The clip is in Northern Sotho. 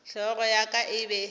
hlogo ya ka e be